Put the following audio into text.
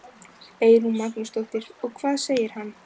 Eyrún Magnúsdóttir: Og hvað segir hann?